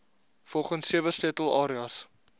volgens sewe sleutelareas